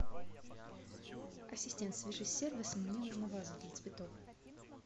ассистент свяжись с сервисом мне нужна ваза для цветов